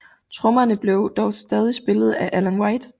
Trommerne blev dog stadig spillet af Alan White